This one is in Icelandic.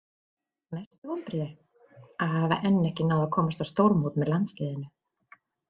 Mestu vonbrigði?: Að hafa enn ekki náð að komast á stórmót með landsliðinu.